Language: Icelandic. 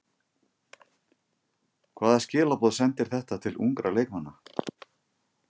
Hvaða skilaboð sendir þetta til ungra leikmanna?